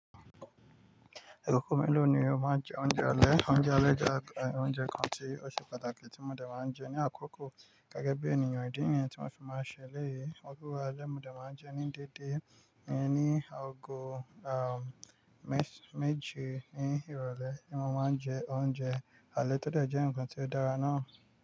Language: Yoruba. Àkókò mélòó ni o máa ń jẹ oúnjẹ alẹ́? Oúnjẹ alẹ́ jẹ́ àwọn oúnjẹ kan tí ó ṣe pàtàkì tí mo dẹ̀ máa ń jẹ ní àkókò gẹ́gẹ́ bí ènìyàn. Ídì nìyẹn tí màá fi máa ṣe ẹlẹ̀yì. Owo ale ni mo dẹ̀ máa ń jẹ ní dédé, rí ní ọgọ́ àh, mes--méje ní ìrọ̀lẹ́ ni mo máa ń jẹ oúnjẹ. Alẹ́ tọ́ de jẹ́ ǹkan tí ó dára ná.